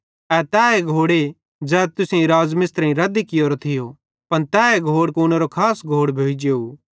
ए तैए घोड़े ज़ै तुसेईं मिस्त्रेईं रद्दी कियोरो थियो पन तैए घोड़ कूनेरो खास घोड़ भोइ जेव